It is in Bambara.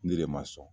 Ne de ma sɔn